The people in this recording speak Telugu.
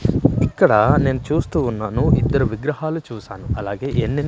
ఇక్కడ నేను చూస్తూ ఉన్నాను ఇద్దరు విగ్రహాలు చూసాను అలాగే ఎన్నెన్--